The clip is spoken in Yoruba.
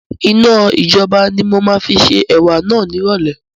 Iná ijọba ni máa fi ṣe ẹ̀wà náà ni irọ̀lẹ́